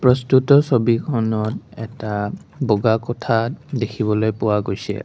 প্ৰস্তুত ছবিখনত এটা বগা কোঠা দেখিবলৈ পোৱা গৈছে।